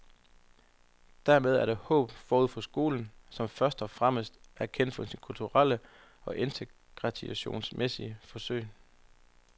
Dermed er der håb forude for skolen, som først og fremmest er kendt for sine kulturelle og integrationsmæssige forsøg.